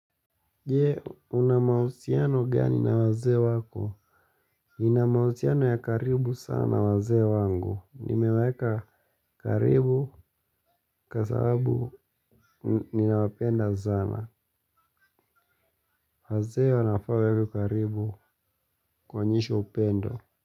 Je, una mahusiano gani na wazee wako? Ninamahusiano ya karibu sana na wazee wangu. Nimeweka karibu kwa sababu ninawapenda sana. Wazee wanafaa wawekwe karibu kuwaonyesha upendo.